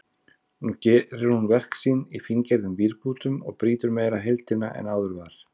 Nú gerir hún verk sín í fíngerðum vírbútum og brýtur meira heildina en áður var.